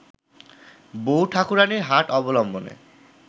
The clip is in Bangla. বউ ঠাকুরানীর হাট অবলম্বনে